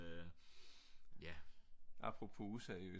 ja apropos useriøst